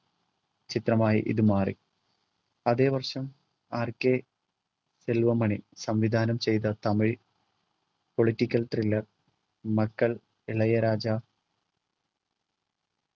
ചിത്രമായി ഇതുമാറി അതെ വർഷം RK സെൽവമണി സംവിധാനം ചെയ്ത തമിഴ് political thriller മക്കൾ ഇളയരാജ